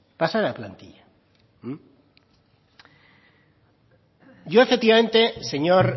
pasa de la plantilla yo efectivamente señor